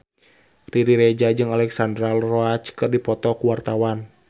Riri Reza jeung Alexandra Roach keur dipoto ku wartawan